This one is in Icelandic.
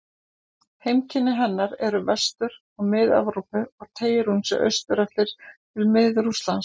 Heimkynni hennar eru í Vestur- og Mið-Evrópu og teygir hún sig austur eftir til Mið-Rússlands.